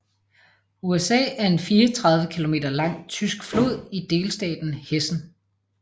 Usa er en 34 km lang tysk flod i delstaten Hessen